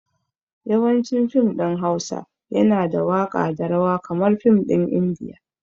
Yawancin fim ɗin Hausa yana da waka da rawa kamar fim ɗin indiya